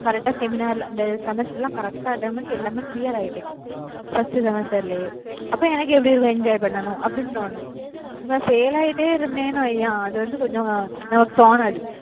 correct அ seminar ல இந்த semester எல்லாம் correct அ attend பண்ணி எல்லாமே clear ஆயிட்டேன் first semester லயே, அப்ப எனக்கு எப்படி இருக்கும் enjoy பண்ணணும் அப்படின்னு தோணும். இப்ப fail ஆயிட்டே இருந்தேன்னு வையேன் அது வந்து கொஞ்சம் அஹ் நமக்கு தோணாது